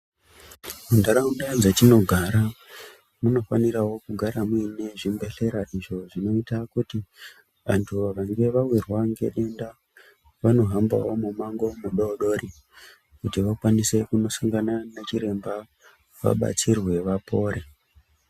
Muntaraunda dzatinogara munofaniravo kugara muine zvibhedhlera izvo zvinoita kuti antu vanenge vavirwa ngedenda vanohambavo mumango mudodori, kuti vakwanise kundosangana nachiremba vabatsirwe vapore.